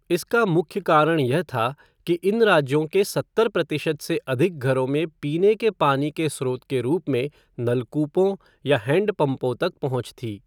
इसका मुख्य कारण यह था कि इन राज्यों के सत्तर प्रतिशत से अधिक घरों में पीने के पानी के स्रोत के रूप में नलकूपों या हैंडपंपों तक पहुँच थी।